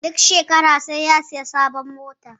Duk shekara sai ya sayi sabuwar mota